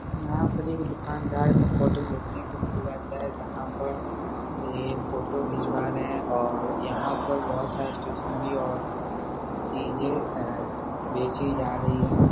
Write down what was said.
यहाँ पर एक दुकानदार का फोटो देखने को मिल जाता है जहाँ पर ये फोटो खिंचवा रहे हैं और यहाँ पर बहुत सारे स्टेशनरी और चीजें अम बेची जा रही हैं ।